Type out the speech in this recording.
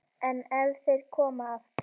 En ef þeir koma aftur?